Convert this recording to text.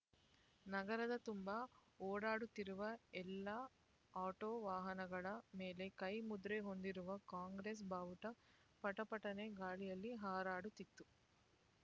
ನಗರದ ತುಂಬ ಓಡಾಡುತ್ತಿರುವ ಎಲ್ಲ ಆಟೋ ವಾಹನಗಳ ಮೇಲೆ ಕೈ ಮುದ್ರೆ ಹೊಂದಿರುವ ಕಾಂಗ್ರೆಸ್ ಬಾವುಟ ಪಟ ಪಟನೆ ಗಾಳಿಯಲ್ಲಿ ಹಾರಾಡುತ್ತಿತ್ತು